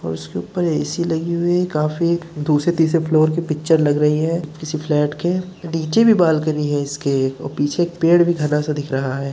और उसके ऊपर एसी लगी हुई है काफ़ी दूसरे तीसरे फ्लोर की पिक्चर लग रही है किसी फ्लैट के नीचे भी बालकनी है इसके और पीछे पेड़ भी घना सा दिख रहा है।